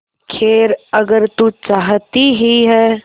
खैर अगर तू चाहती ही है